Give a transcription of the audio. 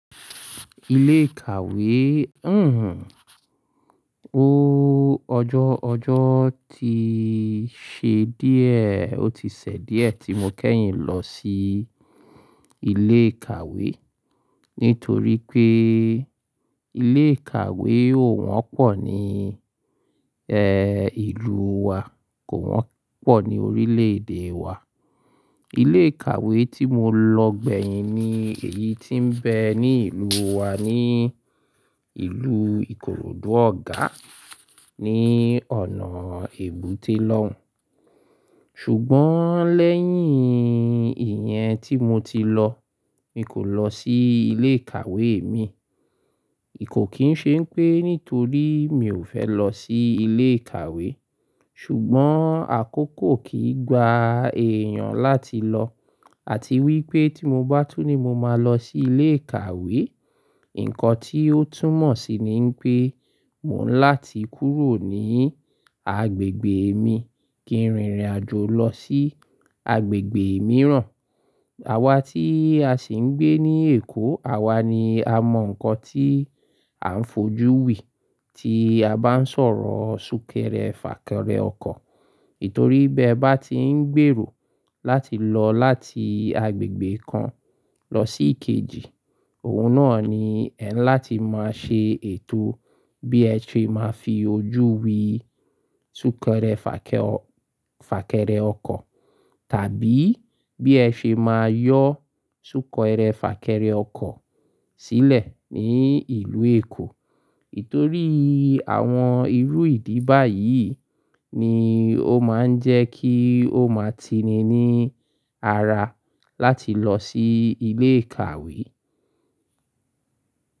Ilé ìkàwé, ọjọ́, ọjọ́ ti ṣe díẹ̀, ó ti ṣẹ díẹ̀ tí mo kẹ́yìn lọ sí ilé ìkàwé. Ǹítorípé ilé ìkàwé ò wọ́pọ̀ ní, ìlú wa, kò wọ́pọ̀ ní orílè èdè wa. Ilé ìkàwé tí mo lọ gbẹ̀yìn ni èyí tí ń bẹ ní ìlú wa ní ìlú Ìkoròdú Ọ̀gá ní ọ̀nà èbúté lọ́hun. Ṣùgbọ́n lẹ́yìn ìyẹn tí mo ti lọ, mi kò lọ sí ilé ìkàwé mi. Kò kín ṣe pé nítorí mi ò fẹ́ lọ sí ilé ìkàwé, ṣùgbọ́n àkókò kìí gba èèyàn láti lọ. Àti wípé tí mo bá tún ní mo máa lọ sí ilé ìkàwé, ǹkan tí ó túmọ̀ sí ní pé mò ń láti kúrò ní agbègbè mi kí n rìn ìrìnàjò lọ sí agbègbè mìíràn. Àwa tí a sì ń gbé ní Èkó, àwa ni a mọ ǹkan tí à ń fojú wí, tí a bá ń sọ̀rọ̀ súnkẹrẹ fàkẹrẹ ọkọ̀. Títorí bí ẹ bá ti ń gbèrò láti lọ láti agbègbè kan lọ sí kejì, òun náà ni ẹ̀ ń láti máa ṣe ètò bí ẹ ti máa fi ojú wí súnkẹrẹ fàkẹ-fàkẹrẹ ọkọ̀, tàbí bí ẹ ṣe máa yọ súnkẹrẹ fàkẹrẹ ọkọ̀ sílẹ̀ ní ìlú Èkó. Nítorí àwọn irú ìdí báyìí ni ó máa ń jẹ́ kí ó máa tini ní ara láti lọ sí ilé ìkàwé.